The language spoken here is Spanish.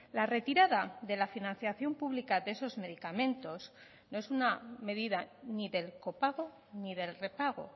la retirada de la financiación pública de esos medicamentos no es una medida ni del copago ni del repago